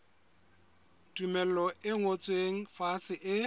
tumello e ngotsweng fatshe e